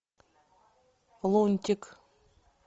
лунтик